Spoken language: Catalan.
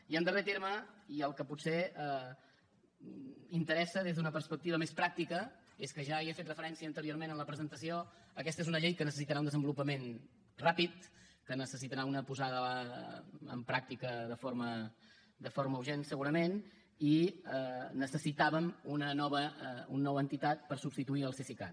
i en darrer terme i el que potser interessa des d’una perspectiva més pràctica és que ja hi he fet referència anteriorment en la presentació aquesta és una llei que necessitarà un desenvolupament ràpid que necessitarà una posada en pràctica de forma urgent segurament i necessitàvem una nova entitat per substituir el cesicat